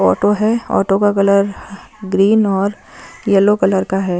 Auto है auto का colour green और येलो कलर का है।